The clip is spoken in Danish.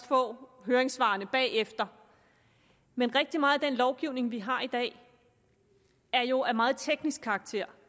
få høringssvarene men rigtig meget af den lovgivning som vi har i dag er jo af meget teknisk karakter